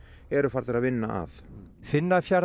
eru farnir að vinna að